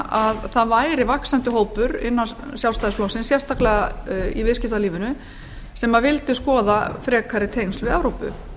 að það væri vaxandi hópur innan sjálfstæðisflokksins sérstaklega í viðskiptalífinu sem vildi skoða frekari tengsl við evrópu